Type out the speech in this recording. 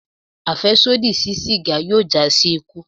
Afẹsodi si siga yoo ja si iku